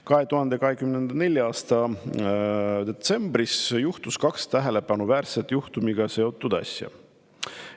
2024. aasta detsembris juhtus kaks tähelepanuväärset juhtumiga seotud asja.